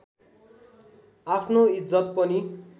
आफ्नो इज्जत पनि